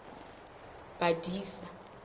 badisa